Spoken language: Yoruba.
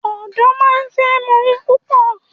Odo máa ń fẹ́ mọ ohun púpò.